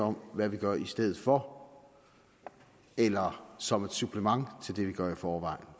om hvad vi gør i stedet for eller som et supplement til det vi gør i forvejen